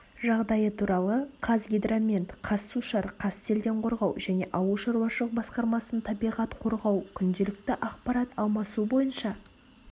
жағдайы туралы қазгидромет қазсушар қазселденқорғау және ауыл шаруашылық басқармасының табиғат қоғау күнделікті ақпарат алмасу бойынша